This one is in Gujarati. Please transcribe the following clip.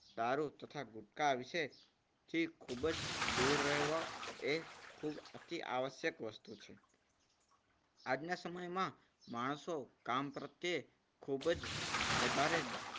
દારૂ તથા ગુટકા વિશે થી ખૂબ જ દૂર રહેવું એ ખૂબ અતિ આવશ્યક વસ્તુ છે. આજના સમયમાં માણસો કામ પ્રત્યે ખૂબ જ વધારે